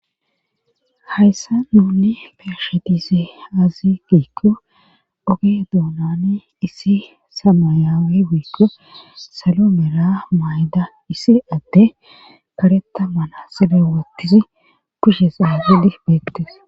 hayssan nuni be7she dize azze giikko oge duunani issi samayawe woykko salo mera mayda issi addey kareta manaxire wothidi kushe xaagedi beettes